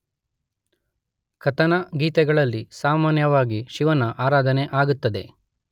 ಕಥನಗೀತೆಗಳಲ್ಲಿ ಸಾಮಾನ್ಯವಾಗಿ ಶಿವನ ಆರಾಧನೆ ಆಗುತ್ತದೆ